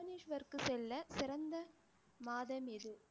புவனேஷ்வர்க்கு செல்ல சிறந்த மாதம் எது